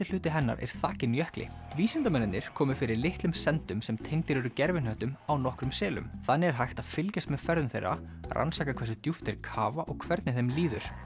hluti hennar er þakinn jökli vísindamennirnir komu fyrir litlum sendum sem tengdir eru gervihnöttum á nokkrum selum þannig er hægt að fylgjast með ferðum þeirra rannsaka hversu djúpt þeir kafa og hvernig þeim líður